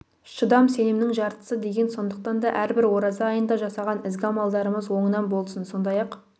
шыдам сенімнің жартысы деген сондықтан да әрбір ораза айында жасаған ізгі амалдарымыз оңынан болсын сондай-ақ